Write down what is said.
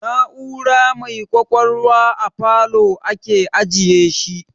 Na'ura mai kwakwalwa a falow ake ajiyeshi